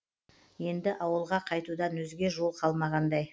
енді ауылға қайтудан өзге жол қалмағандай